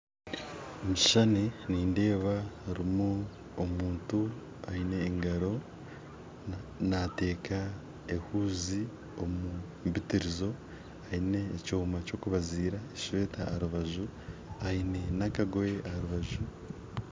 Omukishushani nindeeba harumu omuntu aine engaro nateeka ehuzi omumpitirizo aine ekyoma kyokubaziira eshweta aharubaju aine n'akagoye aharubaju.